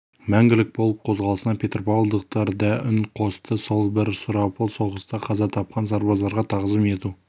мәңгілік полк қозғалысына петропавлдықтар да үн қосты сол бір сұрапыл соғыста қаза тапқан сарбаздарға тағзым ету